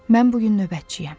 Mən bu gün növbətçiyəm.